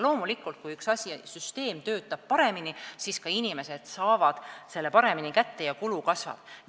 Loomulikult, kui süsteem töötab paremini, siis inimesed saavad neid vahendeid ka paremini kätte ja kulu kasvab.